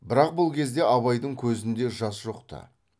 бірақ бұл кезде абайдың көзінде жас жоқ ты